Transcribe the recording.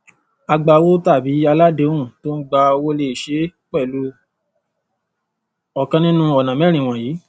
agbawó tàbí aláàdéhùn tó ń gba owó lè ṣe é pẹlú ọkàn nínú ọnà mẹrin wọnyìí